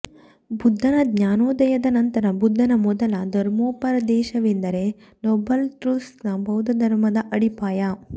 ಬುದ್ಧನ ಜ್ಞಾನೋದಯದ ನಂತರ ಬುದ್ಧನ ಮೊದಲ ಧರ್ಮೋಪದೇಶವೆಂದರೆ ನೋಬಲ್ ಟ್ರುಥ್ಸ್ನ ಬೌದ್ಧಧರ್ಮದ ಅಡಿಪಾಯ